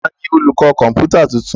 Ta jí olùkọ́ kọ̀ǹpútà tuntun?